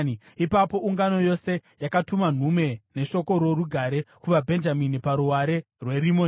Ipapo ungano yose yakatuma nhume neshoko rorugare kuvaBhenjamini paruware rweRimoni.